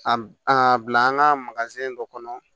A a bila an ka dɔ kɔnɔ